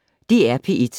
DR P1